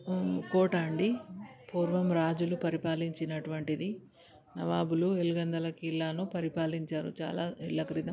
కోట అంటే పూర్వం రాజులు పరిపాలించినటువంటిది. నవాబులు ఎలగందుల కిలాను పరిపాలించారు. చాలా ఏళ్ల క్రితం.